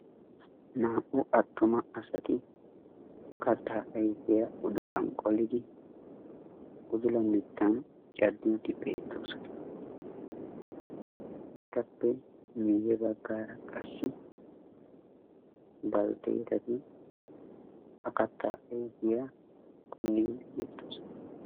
Naa"u attuma asati kattaa ayfiyaa udulan qolidi udula mittan caddiiddi beettoosona. Etappe miyye baggaara qassi baltteetati ha kattaa ayfiyaa punniiddi beettoosona.